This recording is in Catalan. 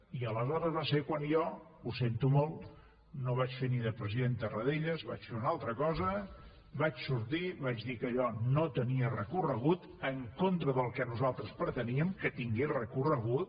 i aleshores va ser quan jo ho sento molt no vaig fer ni de president tarradellas vaig fer una altra cosa vaig sortir vaig dir que allò no tenia recorregut en contra del que nosaltres preteníem que tingués recorregut